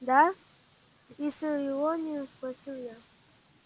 да с иронией спросил я